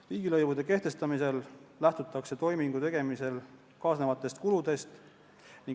Riigilõivude kehtestamisel lähtutakse toimingu tegemisega kaasnevatest kuludest.